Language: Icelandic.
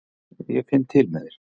Ég finn til með þér.